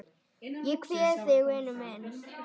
Ég kveð þig vinur minn.